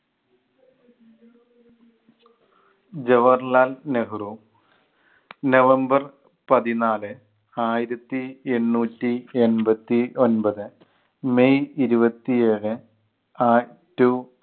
Jawaharlal Nehru November പതിനാല് ആയിരത്തി എണ്ണൂറ്റി എൺപത്തി ഒൻപത് മെയ് ഇരുപത്തിയേഴ് ആറ്റു